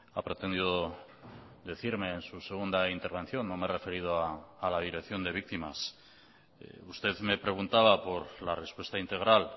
ha pretendido decirme en su segunda intervención no me he referido a la dirección de víctimas usted me preguntaba por la respuesta integral